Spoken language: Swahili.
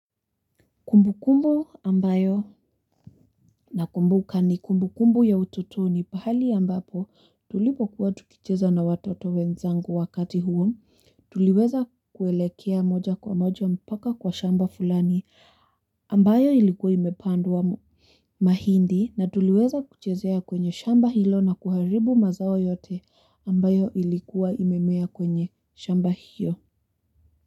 Kumbu kumbu ambayo na kumbuka ni kumbu kumbu ya utotoni pahali ambapo tulipo kuwa tukicheza na watoto wenzangu wakati huo, tuliweza kuelekea moja kwa moja mpaka kwa shamba fulani ambayo ilikuwa imepandumwa mahindi na tuliweza kuchezea kwenye shamba hilo na kuharibu mazao yote ambayo ilikuwa imemea kwenye shamba hiyo.